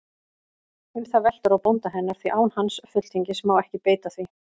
Um það veltur á bónda hennar, því án hans fulltingis má ekki beita því.